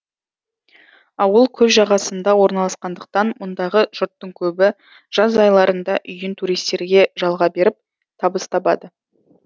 ауыл көл жағасында орналасқандықтан мұндағы жұрттың көбі жаз айларында үйін туристерге жалға беріп табыс табады